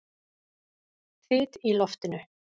Þyt í loftinu!